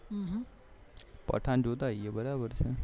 પઠાણ જોતાઈએ બરાબર છે